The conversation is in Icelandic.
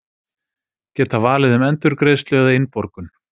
Geta valið um endurgreiðslu eða innborgun